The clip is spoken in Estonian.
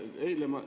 Eile ma ...